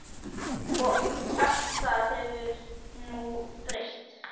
Allt það hefur nú breyst.